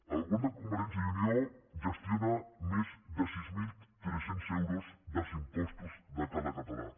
el govern de convergència i unió gestiona més de sis mil tres cents euros dels impostos de cada català